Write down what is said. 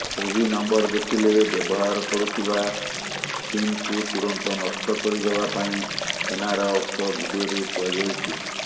ସେହି ନମ୍ବର ଦେଖିଲେ ବ୍ୟବହାର କରୁଥିବା ସିମ୍କୁ ତୁରନ୍ତ ନଷ୍ଟ କରିଦେବା ପାଇଁ ସେନାର ଉକ୍ତ ଭିଡିଓରେ କୁହାଯାଇଛି